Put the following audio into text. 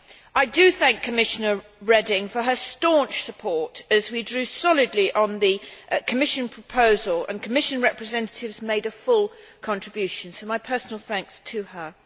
I do thank Commissioner Reding for her staunch support as we drew solidly on the Commission proposal and Commission representatives made a full contribution, so my personal thanks to her.